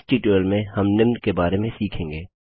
इस ट्यूटोरियल में हम निम्न के बारे में सीखेंगे